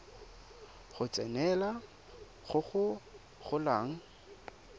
go tsenelela go go golang